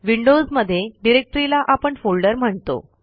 Windows मध्ये डिरेक्टरीला आपण फोल्डर म्हणतो